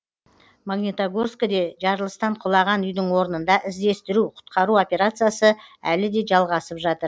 магнитогорскіде жарылыстан құлаған үйдің орнында іздестіру құтқару операциясы әлі де жалғасып жатыр